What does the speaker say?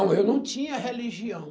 Não, eu não tinha religião.